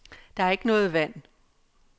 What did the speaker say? Der er ikke noget vand.